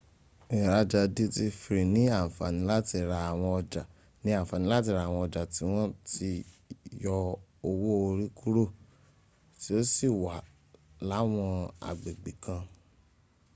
ìraja duty free ni àǹfàní láti ra àwọn ọjà tí wọ́n ti yọ owó orí kúrò tí ó sì wà láwọn agbègbè kan